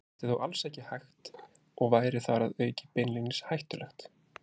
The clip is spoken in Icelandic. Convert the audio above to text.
Þetta er þó alls ekki hægt og væri þar að auki beinlínis hættulegt.